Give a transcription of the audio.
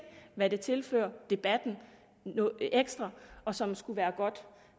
hvad det tilfører debatten ekstra og som skulle være godt